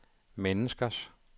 menneskers